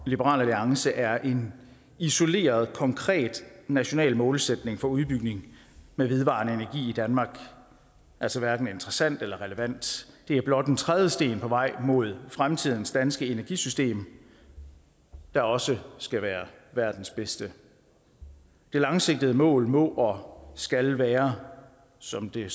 liberal alliance er en isoleret konkret national målsætning for udbygning med vedvarende i danmark altså hverken interessant eller relevant det er blot en trædesten på vej mod fremtidens danske energisystem der også skal være verdens bedste det langsigtede mål må og skal være som det